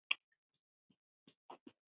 Eða guð má vita hvað.